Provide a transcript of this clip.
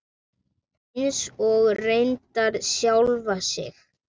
Eins og reyndar sjálfa sig.